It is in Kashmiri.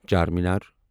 چارمیٖنار